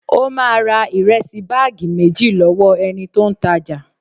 Ó máa ra ìrẹsì báàgì méjì lọ́wọ́ ẹni tó ń ta jà